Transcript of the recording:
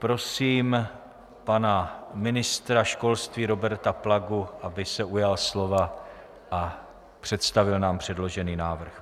Prosím pana ministra školství Roberta Plagu, aby se ujal slova a představil nám předložený návrh.